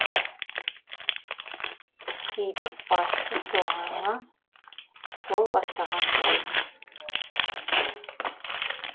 қидық басты соңыңа сол бастаған жолыңа